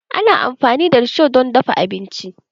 Ana amfani da risho don dafa abinci.